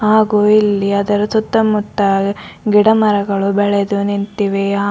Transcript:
ಹಾಗು ಇಲ್ಲಿ ಅದರ ಸುತ್ತ ಮುತ್ತ ಗಿಡ ಮರಗಳು ಬೆಳೆದು ನಿಂತಿವೆ ಆ--